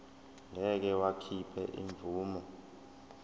ngeke wakhipha imvume